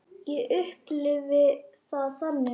Ég upplifi það þannig.